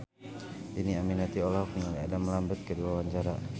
Dhini Aminarti olohok ningali Adam Lambert keur diwawancara